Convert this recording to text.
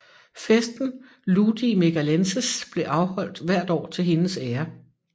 Festen ludi Megalenses blev afholdt hvert år til hendes ære